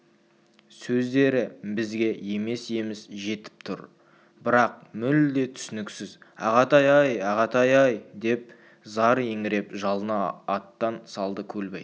сөздері бізге еміс-еміс жетіп тұр бірақ мүлде түсініксіз ағатай-ай ағатай-ай деп зар еңіреп жалына аттан салды көлбай